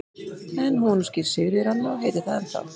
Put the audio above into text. En hún var nú skírð Sigríður Anna og heitir það ennþá.